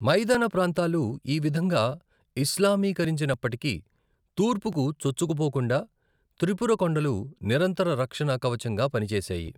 మైదాన ప్రాంతాలు ఈ విధంగా ఇస్లామీకరించినప్పటికీ, తూర్పుకు చొచ్చుకుపోకుండా త్రిపుర కొండలు నిరంతర రక్షణ కవచంగా పనిచేశాయి.